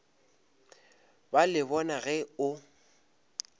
ba le bona ge o